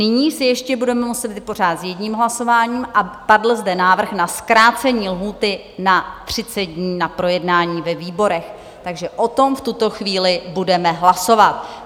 Nyní se ještě budeme muset vypořádat s jedním hlasováním a padl zde návrh na zkrácení lhůty na 30 dní na projednání ve výborech, takže o tom v tuto chvíli budeme hlasovat.